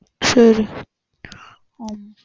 சேரி. உம்